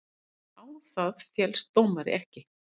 Á það féllst dómari ekki.